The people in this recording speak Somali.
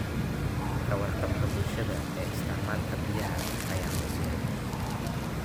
Ka warqabka bulshada ee isticmaalka biyaha ayaa hooseeya.